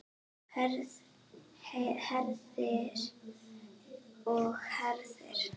Herðir og herðir.